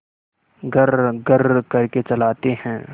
घर्रघर्र करके चलाते हैं